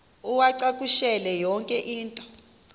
uwacakushele yonke into